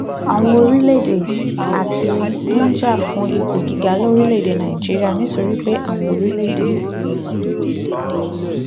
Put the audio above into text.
àwọn orílẹ̀-èdè china àti india ń jà fún ipò gíga lórílẹ̀-èdè nàìjíríà nítorí pé àwọn orílẹ̀-èdè